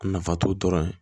A nafa t'o dɔrɔn ye